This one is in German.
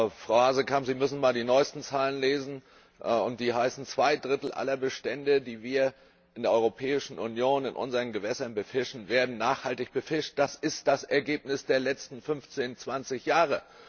Frau Hazekamp, Sie müssen mal die neuesten Zahlen lesen Zwei Drittel aller Bestände, die wir in der Europäischen Union, in unseren Gewässern, befischen, werden nachhaltig befischt. Das ist das Ergebnis der letzten 15 bis 20 Jahre.